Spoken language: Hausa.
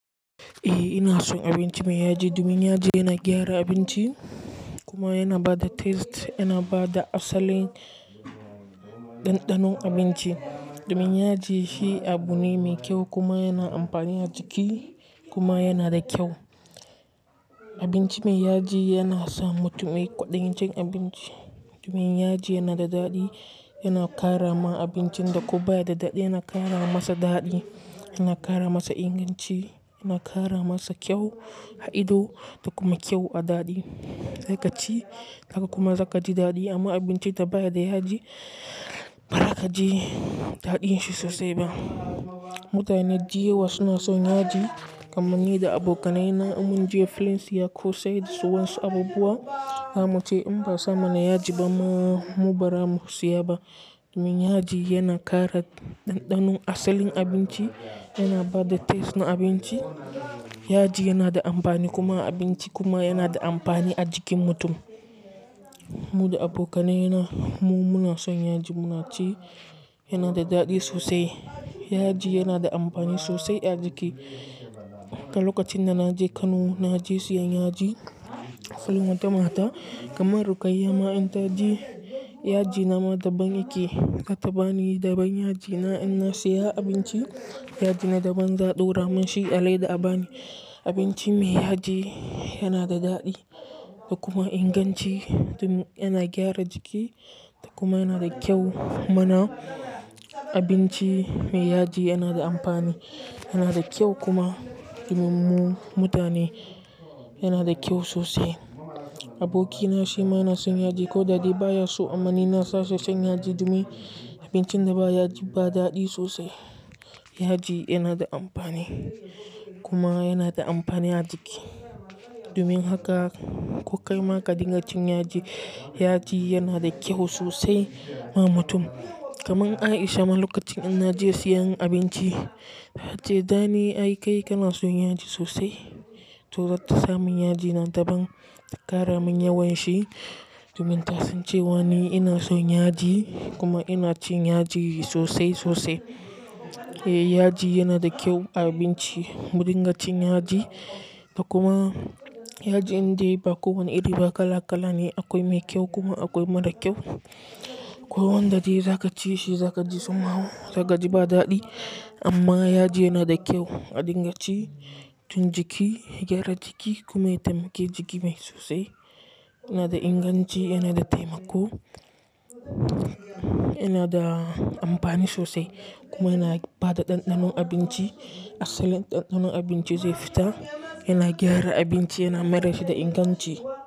Eh ina son abinci mai yaji, domin yaji yana gyara abinci kuma yana ba da taste, yana ba da asalin ɗanɗanon abinci. Domin yaji shi abu ne mai kyau kuma yana amfani a jiki kuma yana da kyau. Abinci mai yaji yana sa mutum yi ƙwaɗayin cin abinci. Domin yaji yana da daɗi, yana ƙara ma abincin da ko ba ya da daɗi yana ƙara masa daɗi, yana ƙara masa inganci, yana ƙara masa kyau a ido, da kuma kyau a daɗi. Za kaci, haka kuma za kaji daɗi amma abincin da baya da yaji bara ka ji daɗin shi sosai ba. Mutane da yawa suna son yaji kamar ni da abokaina. Ina mun je filin siya kose da su wa su abubuwa, zamu ce in ba sa mana yaji ba mu ba za mu siya ba. Domin yaji yana ƙara ɗanɗanon asalin abinci, yana ba da taste na abinci. Yaji yana da amfani kuma a abinci kuma yana da amfani a jikin mutum. Mu da abokaina na, mu muna son yaji, muna ci. Yana da daɗi sosai. Yaji yana da amfani sosai a jiki. A lokacin da na je Kano, na je siyan yaji a wata mata kamar Rukayya ma in taji yaji na ma daban yake. Ta bani daban yaji na in na siya abinci, yaji na daban za a ɗora mun shi a leda a bani. Abinci mai yaji yana da daɗi da kuma inganci domin yana gyara jiki da kuma yana da kyau. Muna abinci mai yaji yana da amfani, yana da kyau kuma domin mu mutane yana da kyau sosai. Abokina shi ma yana son yaji ko da dai baya so amma ni na sa shi cin yaji domin abincin da ba yaji ba daɗi sosai. Yaji yana da amfani kuma yana da amfani a jiki. Domin haka ko kai ma ka dinga cin yaji. Yaji yana da kyau sosai ma mutum. Kaman Aisha ma lokacin in na je siyan abinci ta ce "Dani ai kai kana son yaji sosai, to zata sa mun yaji nan daban ta ƙara mun yawan shi", domin ta san cewa ni ina son yaji kuma ina cin yaji sosai sosai. Eh yaji yana da kyau a abinci. Mu dinga cin yaji da kuma yaji indai ba kowane iri ba kala kala ne. Akwai mai kyau kuma akwai mara kyau. Ko wanda dai za ka ci shi za ka ji tsummawo, za ka ji ba daɗi amma yaji yana da kyau a dingaci tun jiki, gyara jiki kuma ya taimake jiki mai sosai. Yana da inganci, yana da taimako, yana da amfani sosai kuma yana ba da ɗanɗanon abinci. Asalin ɗanɗanon abinci zai fita, yana gyara abinci, yana mai da shi da inganci.